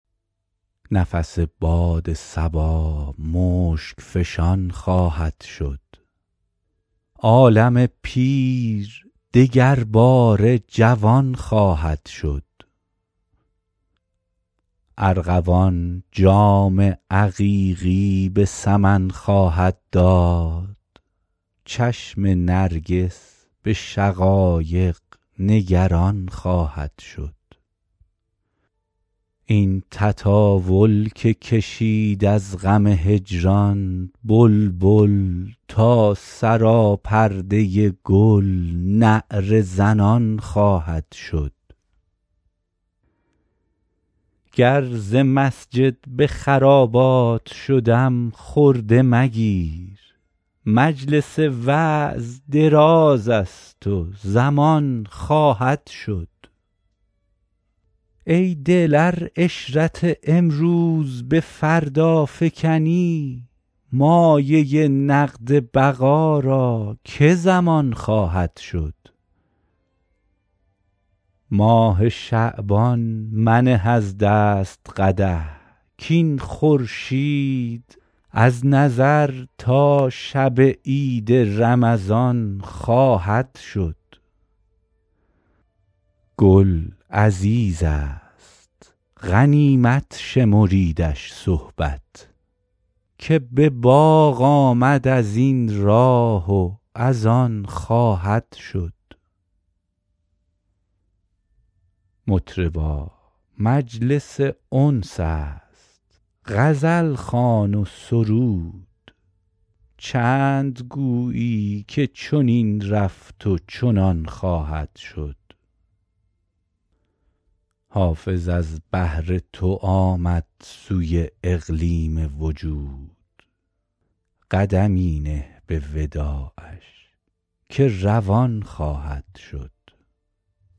نفس باد صبا مشک فشان خواهد شد عالم پیر دگرباره جوان خواهد شد ارغوان جام عقیقی به سمن خواهد داد چشم نرگس به شقایق نگران خواهد شد این تطاول که کشید از غم هجران بلبل تا سراپرده گل نعره زنان خواهد شد گر ز مسجد به خرابات شدم خرده مگیر مجلس وعظ دراز است و زمان خواهد شد ای دل ار عشرت امروز به فردا فکنی مایه نقد بقا را که ضمان خواهد شد ماه شعبان منه از دست قدح کاین خورشید از نظر تا شب عید رمضان خواهد شد گل عزیز است غنیمت شمریدش صحبت که به باغ آمد از این راه و از آن خواهد شد مطربا مجلس انس است غزل خوان و سرود چند گویی که چنین رفت و چنان خواهد شد حافظ از بهر تو آمد سوی اقلیم وجود قدمی نه به وداعش که روان خواهد شد